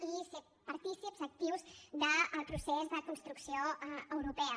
i ser partícips actius del procés de construcció europea